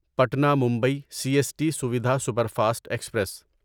Patna Mumbai C S T Suvidha superfast express